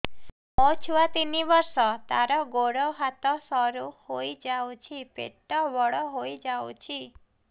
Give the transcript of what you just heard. ମୋ ଛୁଆ ତିନି ବର୍ଷ ତାର ଗୋଡ ହାତ ସରୁ ହୋଇଯାଉଛି ପେଟ ବଡ ହୋଇ ଯାଉଛି